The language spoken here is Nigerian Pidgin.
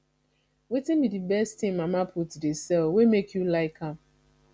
wetin be di best thing mama put dey sell wey make you like am